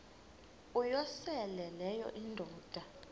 uyosele leyo indoda